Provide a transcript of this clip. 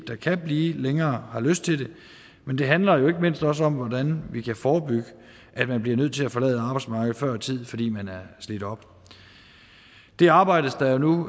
der kan blive længere og har lyst til det men det handler jo ikke mindst også om hvordan vi kan forebygge at man bliver nødt til at forlade arbejdsmarkedet før tid fordi man er slidt op det arbejdes der nu